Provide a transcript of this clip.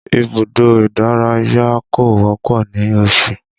Ibùdó ìdárayá kò wọ́pọ̀ ní Osun